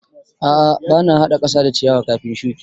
A'a ba na haɗa ƙasa da ciyawa kafin shuki.